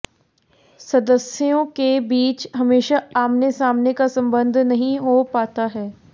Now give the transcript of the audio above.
सदस्यों के बीच हमेशा आमने सामने का संबंध नहीं हो पाता है